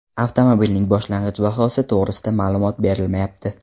Avtomobilning boshlang‘ich bahosi to‘g‘risida ma’lumot berilmayapti.